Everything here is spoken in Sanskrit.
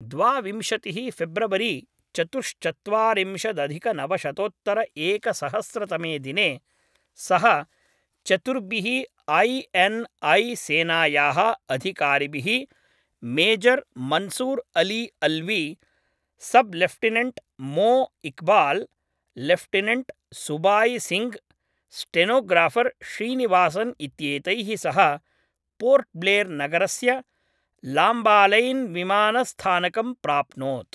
द्वाविंशतिः फेब्रवरी चतुश्चत्वारिंशदधिकनवशतोत्तरएकसहस्रतमे दिने सः चतुर्भिः ऐ एन् ऐ सेनायाः अधिकारिभिः major Mansoor Ali Alvi, sub lieutenant Mo Iqbal, lieutenant Subai Singh, stenographer Srinivasan इत्येतैः सह पोर्ट्ब्लेर्‌नगरस्य लाम्बालैन्विमानस्थानकं प्राप्नोत्।